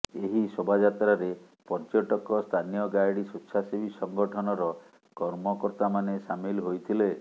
ଏହି ଶୋଭାଯାତ୍ରାରେ ପର୍ଯ୍ୟଟକ ସ୍ଥାନୀୟ ଗାଇଡ ସ୍ୱେଚ୍ଛାସେବୀ ସଂଗଠନର କର୍ମକର୍ତ୍ତା ମାନେ ସାମିଲ ହୋଇଥିଲେ